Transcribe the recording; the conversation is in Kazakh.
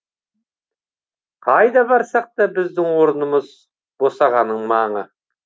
қайда барсақ та біздің орнымыз босағаның маңы